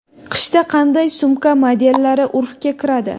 Qishda qanday sumka modellari urfga kiradi?